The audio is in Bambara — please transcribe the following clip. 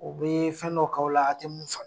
U bɛ fɛn dɔ k'aw la a tɛ mun